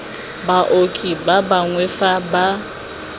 baoki ba bangwe fa ba